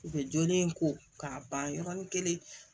U bɛ jolen ko k'a ban yɔrɔni kelen